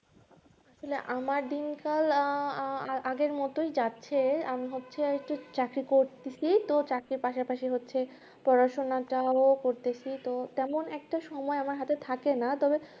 আমার দিন কাল আগের মতোই যাচ্ছে আমি ভাবছি একটা চাকরি করতেছি কিন্তু চাকরির পাশাপাশী হচ্ছে পড়াশোনাটাও করছি তো তেমন একটা সময় আমার হাতে থাকেনা তবে